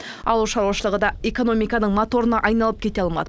ауылшаруашылығы да экономиканың моторына айналып кете алмады